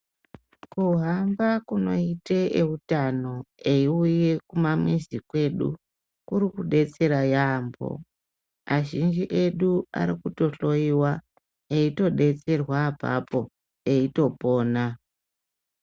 Kuhamba kunoite eutano eiuye kumamizi kwedu kurikudetsera yampho . Azhinji edu arikutohloiwa eitodetserwa apapo eitopona.